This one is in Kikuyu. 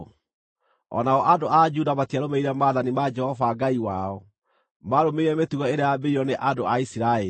O nao andũ a Juda matiarũmĩrĩire maathani ma Jehova Ngai wao. Maarũmĩrĩire mĩtugo ĩrĩa yambĩrĩirio nĩ andũ a Isiraeli.